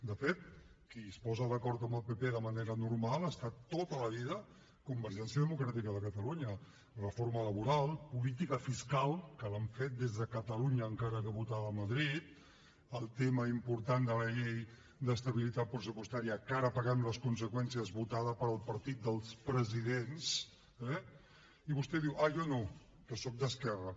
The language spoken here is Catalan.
de fet qui es posa d’acord amb el pp de manera normal ha estat tota la vida convergència democràtica de catalunya reforma laboral política fiscal que l’han fet des de catalunya encara que votada a madrid el tema important de la llei d’estabilitat pressupostària que ara en paguem les conseqüències votada pel partit dels presidents eh i vostè diu ah jo no que sóc d’esquerra